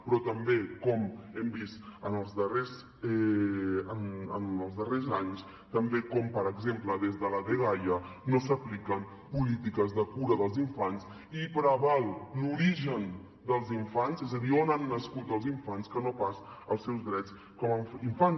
però també com hem vist en els darrers anys com per exemple des de la dgaia no s’apliquen polítiques de cura dels infants i preval l’origen dels infants és a dir on han nascut els infants que no pas els seus drets com a infants